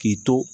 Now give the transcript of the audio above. K'i to